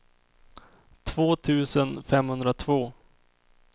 två tusen femhundratvå